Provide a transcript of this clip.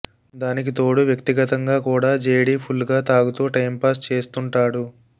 దానికితోడు వ్యక్తిగతంగా కూడా JD full గా తాగుతూ టైం పాస్ చేస్తుంటాడు